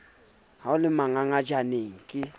ha o le manganganyanatjena ke